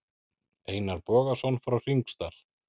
Einar Bogason frá Hringsdal.